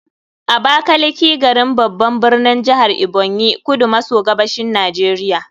Abakaliki, garin, babban birnin jihar Ebonyi, kudu maso gabashin Najeriya.